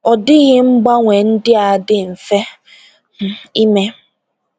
Ọ dịghị mgbanwe ndị a dị mfe um ime.